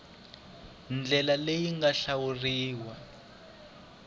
ndlela leyi yi nga hlawuriwa